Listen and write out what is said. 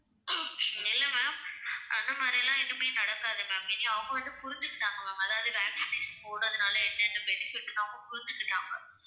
இல்லை ma'am அந்த மாதிரி எல்லாம் எதுவுமே நடக்காது ma'am. இங்க அவங்க வந்து புரிஞ்சிக்கிட்டாங்க ma'am அதாவது vaccination போடறதுனால என்னென்ன benefit ன்னு அவங்க புரிஞ்சிக்கிட்டாங்க.